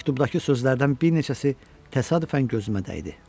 Məktubdakı sözlərdən bir neçəsi təsadüfən gözümə dəydi.